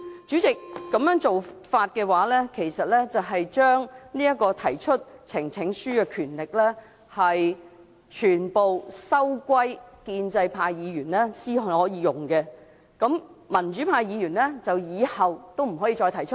主席，如果這樣做，其實等於把提交呈請書的權力全部收歸建制派議員所用，民主派議員以後也不能提交。